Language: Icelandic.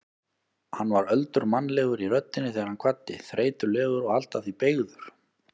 Hann var öldurmannlegur í röddinni þegar hann kvaddi, þreytulegur og allt að því beygður.